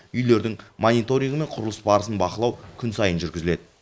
үйлердің мониторингі мен құрылыс барысын бақылау күн сайын жүргізіледі